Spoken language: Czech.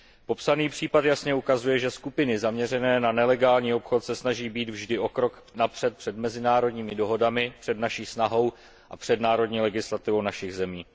Popsaný případ jasně ukazuje, že skupiny zaměřené na nelegální obchod se snaží být vždy o krok napřed před mezinárodními dohodami, před naší snahou a před národní legislativou našich zemí.